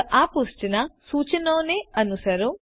ફક્ત આ પૃષ્ઠ પરના સૂચનોને અનુસરો